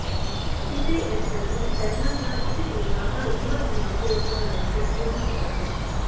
ਕਿਸੇ ਐਕਸੈਸਰੀ ਪਹਿਨਣ ਦਾ ਇਹ ਤਰੀਕਾ ਹਰ ਉਮਰ ਦੀਆਂ ਔਰਤਾਂ ਲਈ ਸੰਪੂਰਨ ਹੁੰਦਾ ਹੈ